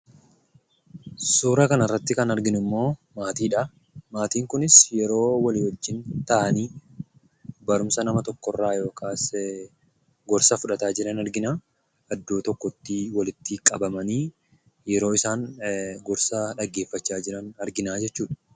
Suuraa kanarratti kan nuti arginummoo maatiidha. Maatiin kunis yeroo walii wajjin taa'anii barumsa nama tokkorraa yookiis gorsa fuudhataa jiran argina. Iddoo tokkotti walitti qabamanii yeroo isaan gorsa dhaggeeffatan argina jechuudha.